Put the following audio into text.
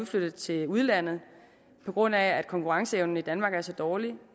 flyttet til udlandet på grund af at konkurrenceevnen i danmark er så dårlig